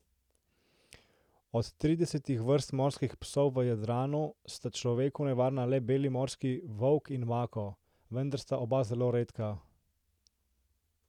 Od tridesetih vrst morskih psov v Jadranu sta človeku nevarna le beli morski volk in mako, vendar sta oba zelo redka.